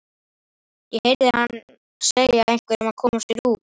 Ég heyrði hann segja einhverjum að koma sér út.